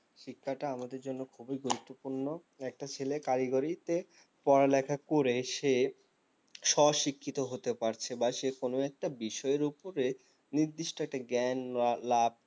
শিক্ষাটা আমাদের জন্য খুবই গুরুত্বপূর্ণ একটা ছেলে কারিগরিতে পড়ালেখা করে সে স্বশিক্ষিত হতে পারছে বা সে কোনো একটা বিষয়ের ওপরে নির্দিষ্ট একটা জ্ঞান লাভ